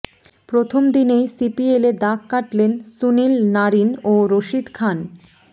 প্রথম দিনেই সিপিএলে দাগ কাটলেন সুনীল নারিন ও রশিদ খান